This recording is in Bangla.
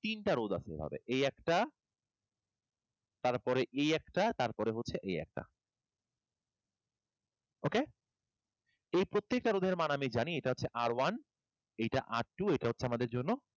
তিনটা রোধ আছে হবে এই একটা, তারপরে এই একটা তারপরে হচ্ছে এই একটা। Okay? এর প্রত্যেকটা রোধের মান আমি জানি এটা হচ্ছে R one এইটা R two এটা হচ্ছে আমাদের জন্য